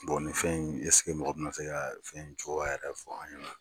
nin fɛn ɛin mɔgɔ bɛna se ka fɛn in cogo yɛrɛ fɔ an ɲɛna